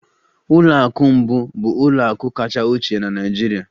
ụlọ akụ mbụ bụ ụlọ akụ kacha ochie na Nigeria.